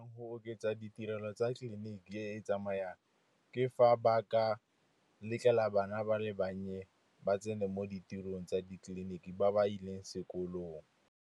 Go oketsa ditirelo tsa tleliniki e tsamayang ke fa ba ka letlela bana ba le bannye ba tsene mo ditirong tsa ditleliniki, ba ba ileng sekolong.